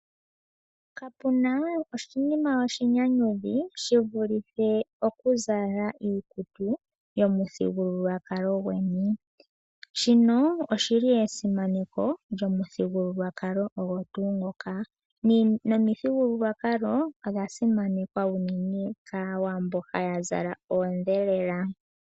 Kapuna oshinima oshinyanyudhi shivulithe okuzala iikutu yomuthigululwakalo gweni . Shino oshili esimaneko lyomuthigululwakalo ogo tuu ngoka. Nomithigululwakalo odha simanekwa unene kAawambo haya zala oondhelela.